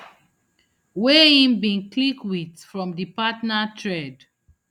wey im bin click wit from di partner thread